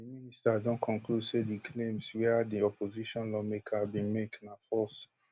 di minister don conclude say di claims wia di opposition lawmaker bin make na false